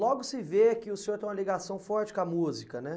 Logo se vê que o senhor tem uma ligação forte com a música, né?